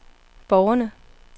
borgerne